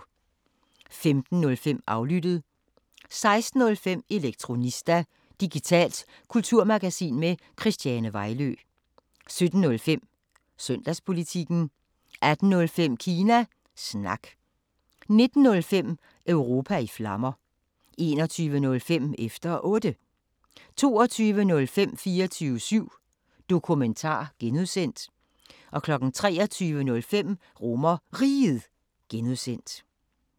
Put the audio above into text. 15:05: Aflyttet 16:05: Elektronista – digitalt kulturmagasin med Christiane Vejlø 17:05: Søndagspolitikken 18:05: Kina Snak 19:05: Europa i Flammer 21:05: Efter Otte 22:05: 24syv Dokumentar (G) 23:05: RomerRiget (G)